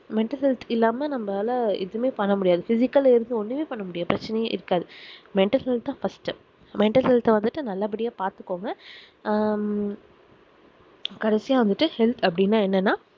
mental health இல்லாம நம்மளால எதுமே பண்ண முடியாது physical work ஒன்னுமே பண்ண முடியாது பிரச்சனையே இருக்காது mental health தான் firstmental health அஹ் நல்ல படியா பாத்துகோங்க ஆஹ் ஹம் கடைசியா வந்துட்டு self அப்டினா என்னென